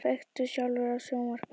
Kveiktu sjálfur á sjónvarpinu.